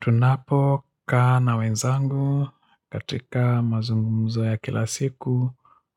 Tunapokaa na wenzangu katika mazungumzo ya kila siku